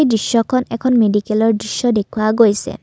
দৃশ্যখন এখন মেডিকেলৰ দৃশ্য দেখুওৱা গৈছে।